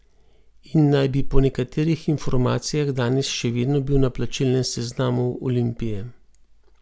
In naj bi po nekaterih informacijah danes še vedno bil na plačilnem seznamu Olimpije.